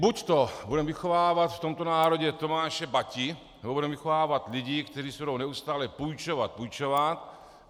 Buďto budeme vychovávat v tomto národě Tomáše Bati, nebo budeme vychovávat lidi, kteří si budou neustále půjčovat, půjčovat.